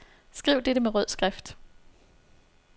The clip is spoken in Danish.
Skriv dette med rød skrift.